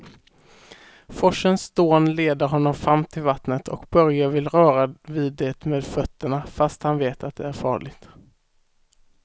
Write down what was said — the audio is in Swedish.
Forsens dån leder honom fram till vattnet och Börje vill röra vid det med fötterna, fast han vet att det är farligt.